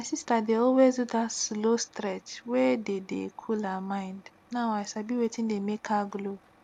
my sister dey always do that slow stretch wey dey dey cool her mind now i sabi wetin dey make her glow